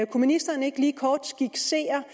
kunne ministeren ikke lige kort skitsere